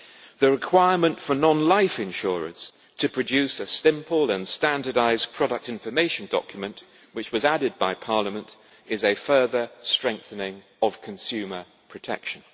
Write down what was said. The requirement for non life insurance to produce a simple and standardised product information document, which was added by Parliament, is a further strengthening of consumer protection.